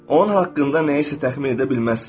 Onun haqqında nəyisə təxmin edə bilməzsən.